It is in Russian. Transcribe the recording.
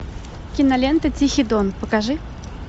кинолента тихий дон покажи